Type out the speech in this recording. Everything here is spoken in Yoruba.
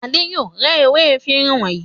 Adé yóò rẹ́ ewé efirin wọ̀nyí.